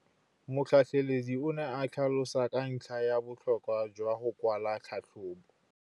Motlhatlheledi o ne a tlhalosa ka ntlha ya botlhokwa jwa go kwala tlhatlhôbô.